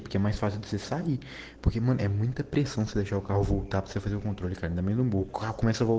таким образом сами платим интерпресскон следующего утра центральному кольцу